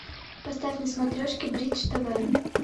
поставь на смотрешке бридж тв